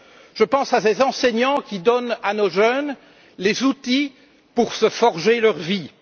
Je pense à ces enseignants qui donnent à nos jeunes les outils pour se forger leur vie.